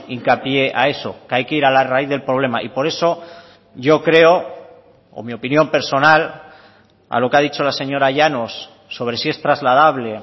hincapié a eso que hay que ir a la raíz del problema y por eso yo creo o mi opinión personal a lo que ha dicho la señora llanos sobre si es trasladable